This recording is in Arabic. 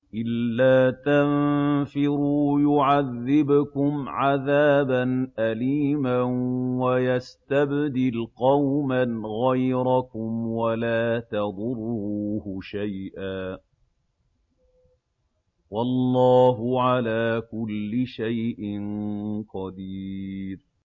إِلَّا تَنفِرُوا يُعَذِّبْكُمْ عَذَابًا أَلِيمًا وَيَسْتَبْدِلْ قَوْمًا غَيْرَكُمْ وَلَا تَضُرُّوهُ شَيْئًا ۗ وَاللَّهُ عَلَىٰ كُلِّ شَيْءٍ قَدِيرٌ